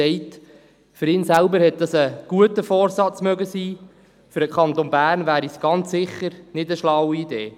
Für ihn selber mochte das ein guter Vorsatz sein, für den Kanton Bern wäre es ganz sicher keine schlaue Idee.